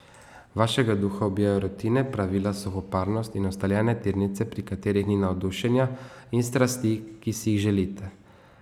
Vašega duha ubijajo rutine, pravila, suhoparnost in ustaljene tirnice, pri katerih ni navdušenja in strasti, ki si jih želite.